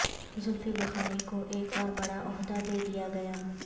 زلفی بخاری کو ایک اور بڑا عہدہ دیدیا گیا